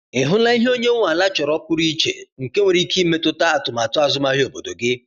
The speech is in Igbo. Ị hụla ihe onye nwe ala chọrọ pụrụ iche nke nwere ike imetụta atụmatụ azụmahịa obodo gị?